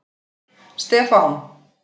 Stefán